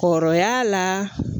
Kɔrɔya la